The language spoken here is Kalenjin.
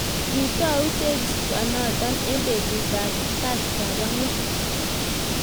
kitou teksonoto eng betutab kasangwan